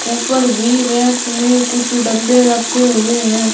ऊपर भी रैक में कुछ डब्बे रखे हुए हैं।